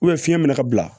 fiɲɛ bɛna bila